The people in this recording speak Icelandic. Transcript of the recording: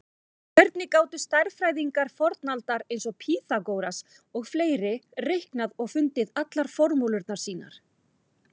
Hvernig gátu stærðfræðingar fornaldar eins og Pýþagóras og fleiri reiknað og fundið allar formúlurnar sínar?